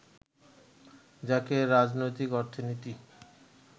যাকে রাজনৈতিক অর্থনীতি